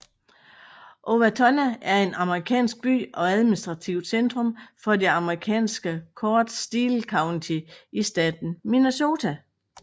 Owatonna er en amerikansk by og administrativt centrum for det amerikanske county Steele County i staten Minnesota